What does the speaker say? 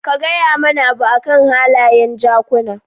Ka gaya mana abu akan halayen jakuna